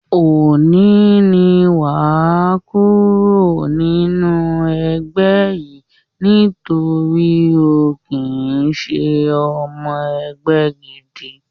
Òní ni wàá kúrò nínú ẹgbẹ́ yìí nítorí o ò kí ń ṣe ọmọ ẹgbẹ́ gidi